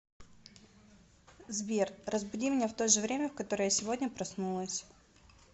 сбер разбуди меня в то же время в которое я сегодня проснулась